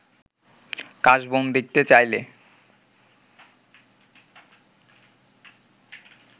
কাশবন দেখতে চাইলে